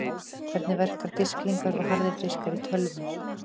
Hvernig verka disklingar og harðir diskar í tölvum?